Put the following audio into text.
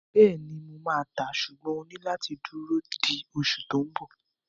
Bẹ́ẹ̀ni, mo máa tàá, ṣùgbọ́n o máa ní láti dúró di oṣù tó n bọ̀